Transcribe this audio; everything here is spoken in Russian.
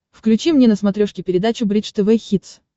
включи мне на смотрешке передачу бридж тв хитс